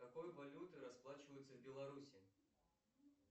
какой валютой расплачиваются в белоруссии